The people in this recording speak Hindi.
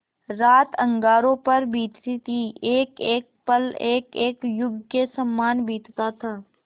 रात अंगारों पर बीतती थी एकएक पल एकएक युग के सामान बीतता था